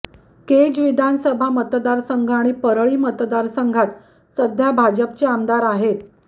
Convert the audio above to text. केज विधानसभा मतदारसंघ आणि परळी मतदारसंघात सध्या भाजपचे आमदार आहेत